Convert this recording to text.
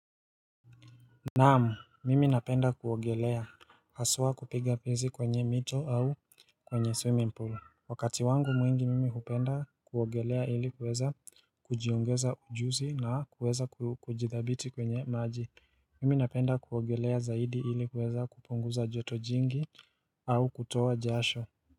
Naam, mimi napenda kuogelea, haswa kupiga pizi kwenye mito au kwenye swimming pool Wakati wangu mwingi mimi hupenda kuogelea ili kuweza kujiongeza ujuzi na kuweza kujithabiti kwenye maji Mimi napenda kuogelea zaidi ili kuweza kupunguza joto jingi au kutoa jasho.